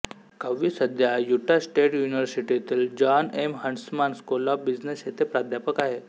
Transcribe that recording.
कव्ही सध्या Utah State युनिव्हर्सिटीतील John M Huntsman school of business येथे प्राध्यापक आहे